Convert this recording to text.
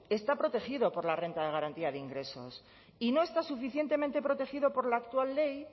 está protegido por la renta de garantía de ingresos y no está suficientemente protegido por la actual ley